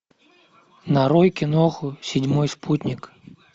нарой киноху седьмой спутник